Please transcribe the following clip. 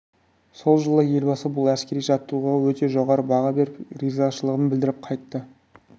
сол жолы елбасы бұл әскери жаттығуға өте жоғары баға беріп ризашылығын білдіріп қайтты